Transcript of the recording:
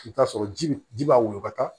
I bɛ t'a sɔrɔ ji bi ji b'a woyɔ ka taa